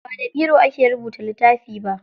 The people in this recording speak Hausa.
Ba da biro ake rubuta littafi ba.